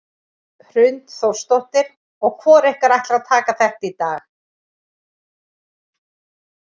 Hrund Þórsdóttir: Og hvor ykkur ætlar að taka þetta í dag?